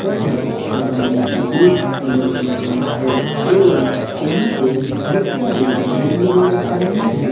तथा सब आदमी का मुंह ब्लर किया गया है एवं यहां पे बहुत सारे बैलून भी नजर आ रहे हैं।